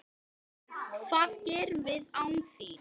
Hvað gerum við án þín?